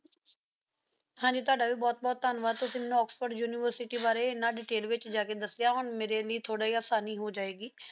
ਹਨ ਜੀ ਤੁਹਾਡਾ ਵੀ ਬੋਹਤ ਬੋਹਤ ਧਨਵਾਦ ਤੁਸੀਂ ਮੇਨ੍ਨੁ ਆਕਸਫੋਰਡ university ਬਾਰੇ ਇੰਨਾ detail ਵਿਚ ਜਾ ਕ ਦੱਸਿਆ ਹੁਣ ਮੇਰੀ ਲੈ ਥੋੜੀ ਜੈ ਆਸਾਨੀ ਹੋ ਜਾਏ ਗੀ